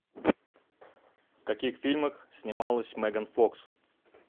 в каких фильмах снималась меган фокс